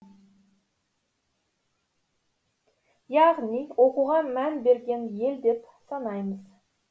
яғни оқуға мән берген ел деп санаймыз